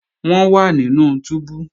Wọ́n wà nínú túbú